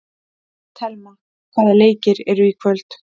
Thelma, hvaða leikir eru í kvöld?